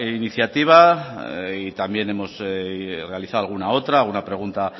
iniciativa y también hemos realizado alguna otra una pregunta